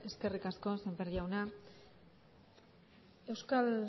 eskerrik asko sémper jauna euskal